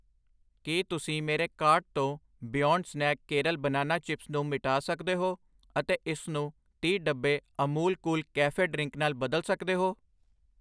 ਕੀ ਤੁਸੀਂ ਮੇਰੇ ਕਾਰਟ ਤੋਂ ਬਿਯੋਨਡ ਸਨੈਕ ਕੇਰਲ ਕੇਲੇ ਚਿਪਸ ਨੂੰ ਮਿਟਾ ਸਕਦੇ ਹੋ ਅਤੇ ਇਸਨੂੰ ਤੀਹ, ਡੱਬੇ ਅਮੂਲ ਕੂਲ ਕੈਫੇ ਡਰਿੰਕ ਨਾਲ ਬਦਲ ਸਕਦੇ ਹੋ